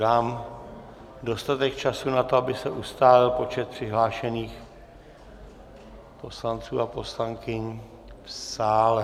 Dám dostatek času na to, aby se ustálil počet přihlášených poslanců a poslankyň v sále.